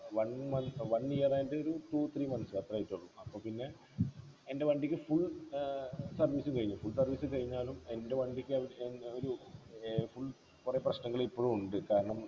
one മ one year ആയിട്ടൊരു two three months അത്രേ ആയിട്ടുള്ളു അപ്പൊ പിന്നെ എൻ്റെ വണ്ടിക്ക് full ഏർ service ഉം കഴിഞ്ഞു full service ഉം കഴിഞ്ഞാലും എൻ്റെ വണ്ടിക്ക് ഏർ ഏർ ഒരു ഏർ full കൊറേ പ്രശ്നങ്ങളിപ്പോളും ഉണ്ട് കാരണം